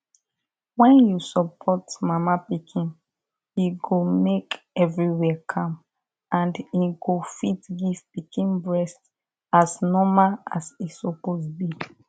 when you support mama pikin e go make everywhere calm and im go fit give pikin breast as normal as e suppose be